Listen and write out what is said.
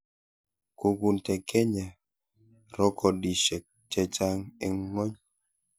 Kukunte Kenya rokodishe che chang eng ngony.